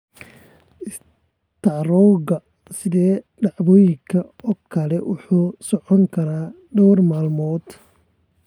Istaroogga sida dhacdooyinka oo kale wuxuu socon karaa dhowr maalmood.